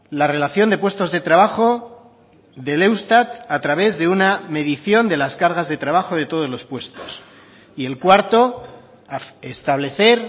la relación de puestos de trabajo del eustat a través de una medición de las cargas de trabajo de todos los puestos y el cuarto establecer